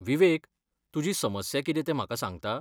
विवेक, तुजी समस्या कितें तें म्हाका सांगता?